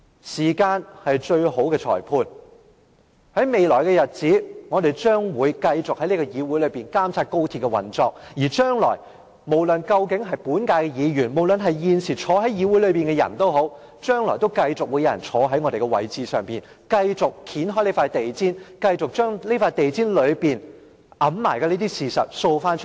時間是最好的裁判，在未來的日子，我們將繼續在議會內監察高鐵的運作，無論是本屆議員或現時坐在議會內的人，或是將來坐在我們位置上的人，都會繼續掀開這張地毯，將藏在地毯下的事掃出來。